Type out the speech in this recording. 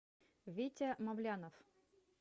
витя мавлянов